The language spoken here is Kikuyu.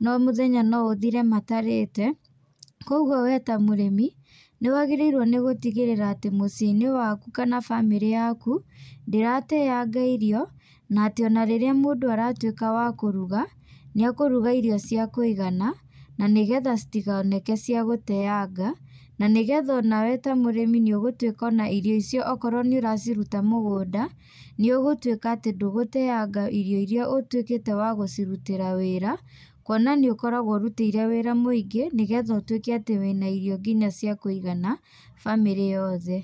no mũthenya no ũthire matarĩte. Kũguo we ta mũrĩmi, nĩ wagĩrĩirwo nĩ gũtigĩrĩra atĩ mũciĩ-inĩ waku kana bamĩrĩ yaku, ndĩrateanga irio, na atĩ ona rĩrĩa mũndũ aratuĩka wa kũruga, nĩ akũruga irio cia kũigana, na nĩgetha citikoneke cia gũteanga, na nĩgetha onawe ta mũrĩmi nĩ ũgũtuĩka ona irio icio okorwo nĩ ũraciruta mũgũnda, nĩ ũgũtuĩka atĩ ndũgũteanga irio irĩa ũtuĩkĩte wa gũcirutĩra wĩra, kuona nĩ ũkoragwo ũrutĩire wĩra mũingĩ, nĩgetha ũtuĩke atĩ wĩna irio nginya cia kũigana bamĩrĩ yothe.